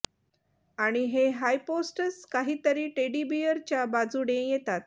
आणि हे हायपोस्टस काही तरी टेडी बियरच्या बाजूने येतात